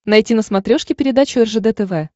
найти на смотрешке передачу ржд тв